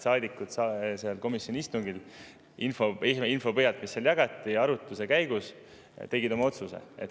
Saadikud tegid komisjoni istungil oma otsuse info põhjal, mida seal arutluse käigus jagati.